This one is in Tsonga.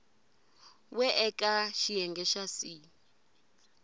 we eka xiyenge xa c